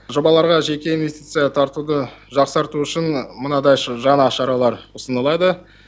жобаларға жеке инвестиция тартуды жақсарту үшін мынадай жаңа шаралар ұсынылады